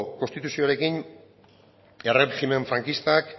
konstituzioarekin erregimen frankistak